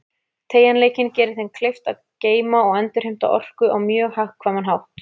Teygjanleikinn gerir þeim kleift að geyma og endurheimta orku á mjög hagkvæman hátt.